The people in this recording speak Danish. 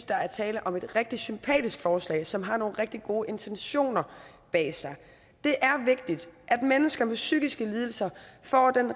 der er tale om et rigtig sympatisk forslag som har nogle rigtig gode intentioner bag sig det er vigtigt at mennesker med psykiske lidelser får den